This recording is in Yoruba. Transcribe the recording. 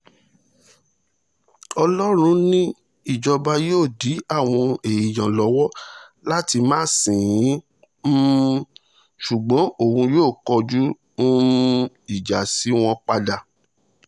ọlọ́run ni ìjọba yóò dí àwọn èèyàn lọ́wọ́ láti máa sìn ín um ṣùgbọ́n òun yóò kọjú um ìjà sí wọn padà